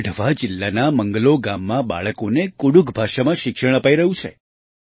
ગઢવા જિલ્લાના મંગલો ગામમાં બાળકોને કુડુખ ભાષામાં શિક્ષણ અપાઈ રહ્યું છે